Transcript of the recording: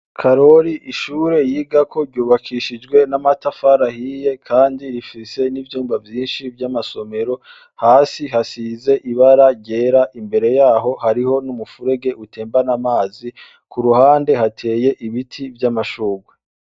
Karori ishure yigako ryubakishijwe n'amatafari ahiye, kandi rifise n'ivyumba vyinshi vy'amasomero. Hasi hasize ibara ryera. Imbere yaho hariho n'umufurege utembana amazi. Ku ruhande hateye ibiti vy'amashurwe.